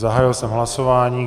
Zahájil jsem hlasování.